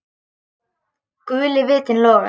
Guli vitinn logar.